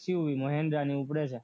XUV માં Honda ઉપડે છે